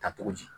Ta cogo di